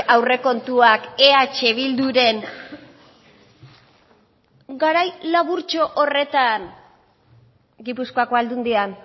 aurrekontuak eh bilduren garai laburtxo horretan gipuzkoako aldundian